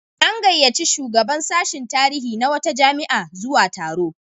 An gayyaci shugaban sashin tarihi na wata jami'a zuwa taro.